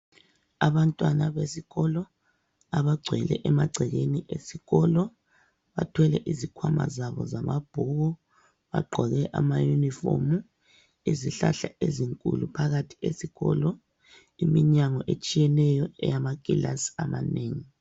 Abantwana besikolo abagcwele emagcekeni esikolo bathwele izikhwama zabo zamabhuku bagqoke amayunifomu. Izihlahla ezinkulu phakathi esikolo, iminyango etshiyeneyo eyamakilasi amanengi.